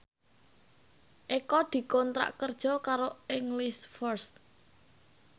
Eko dikontrak kerja karo English First